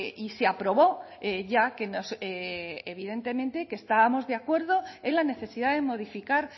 y se aprobó ya que nos evidentemente que estábamos de acuerdo en la necesidad de modificar